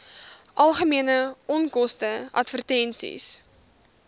algemene onkoste advertensies